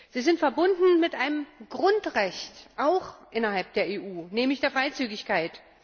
Sie sind verbunden mit einem Grundrecht innerhalb der EU, nämlich der Freizügigkeit.